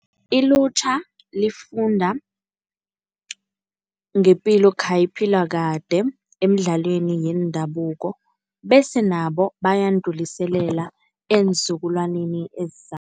Ilutjha lifunda ngepilo khayiphilwa kade emidlalweni yendabuko. Bese nabo bayandluliselela eenzukulwaneni